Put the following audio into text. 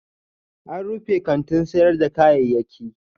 An rufe kantin sayar da kayayyaki